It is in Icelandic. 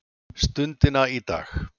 stundina í dag.